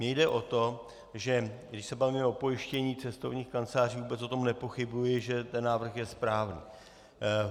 Mně jde o to, že když se bavíme o pojištění cestovních kanceláří, vůbec o tom nepochybuji, že ten návrh je správný.